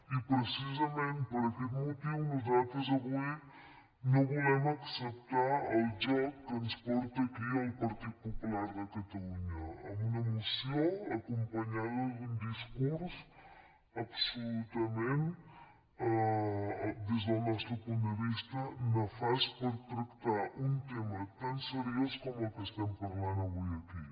i precisament per aquest motiu nosaltres avui no vo·lem acceptar el joc que ens porta aquí el partit popu·lar de catalunya amb una moció acompanyada d’un discurs absolutament des del nostre punt de vista ne·fast per tractar un tema tan seriós com el que estem parlant avui aquí